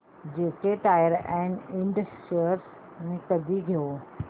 JK tyre and ind shares मी कधी घेऊ